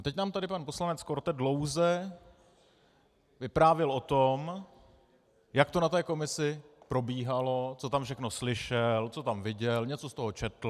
A teď nám tady pan poslanec Korte dlouze vyprávěl o tom, jak to na té komisi probíhalo, co tam všechno slyšel, co tam viděl, něco z toho četl.